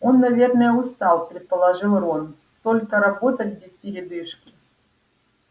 он наверное устал предположил рон столько работать без передышки